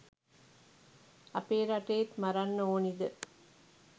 අපේ රටේත් මරන්න ඕනිද?